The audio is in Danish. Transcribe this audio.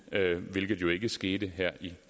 hvilket jo ikke skete her i